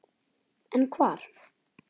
En hvar?